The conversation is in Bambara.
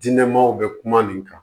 Diinɛ maw bɛ kuma nin kan